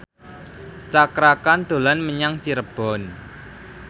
Cakra Khan dolan menyang Cirebon